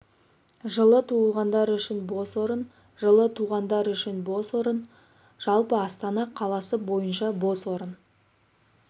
жылы туғандар үшін бос орын жылы туғандар үшін бос орын жалпы астана қаласы бойынша бос орын